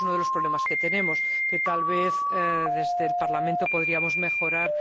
Ese es uno de los problemas que tenemos y, que tal vez, desde el Parlamento, podríamos mejorar.